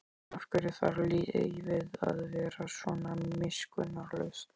Af hverju þarf lífið að vera svona miskunnarlaust?